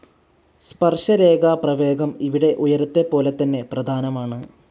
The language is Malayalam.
സ്പർശരേഖാ പ്രവേഗം ഇവിടെ ഉയരത്തെപ്പോലെതന്നെ പ്രധാനമാണ്.